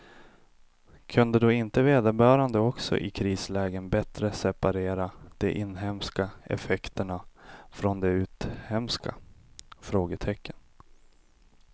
Kunde då inte vederbörande också i krislägen bättre separera de inhemska effekterna från de uthemska? frågetecken